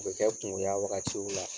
O bɛ kɛ kungoya wagatiw la.